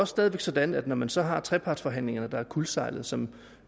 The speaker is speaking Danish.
stadig væk sådan at når man så har trepartsforhandlingerne der er kuldsejlet og som